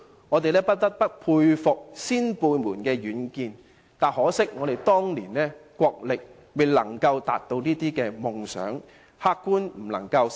我們不得不佩服先輩們的遠見，只可惜憑當年的國力，並未能實現這些夢想。